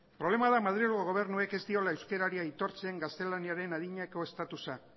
problema da madrilgo gobernuak ez diola euskerari aitortzen gaztelaniaren adinako estatusa